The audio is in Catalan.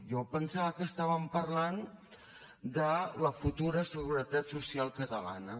jo em pensava que estàvem parlant de la futura seguretat social catalana